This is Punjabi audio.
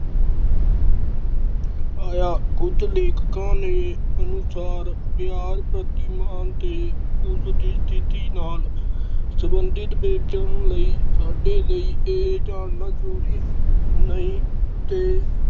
ਆਇਆ ਖੁਦ ਲੇਖਿਕਾ ਦੇ ਅਨੁਸਾਰ ਵਿਹਾਰ ਪ੍ਰਤੀ ਮਾਨ ਤੇ ਉਸ ਦੀ ਸਥਿਤੀ ਨਾਲ ਸੰਬੰਧਿਤ ਵੇਤਨ ਲਈ ਸਾਡੇ ਲਈ ਏ ਜਾਨਣਾ ਜਰੂਰੀ ਨਹੀਂ ਤੇ।